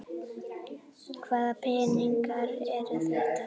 Hvaða peningar eru þetta?